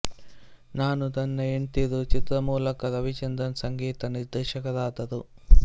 ನಾನು ನನ್ನ ಹೆಂಡ್ತೀರು ಚಿತ್ರದ ಮೂಲಕ ರವಿಚಂದ್ರನ್ ಸಂಗೀತ ನಿರ್ದೇಶಕರಾದರು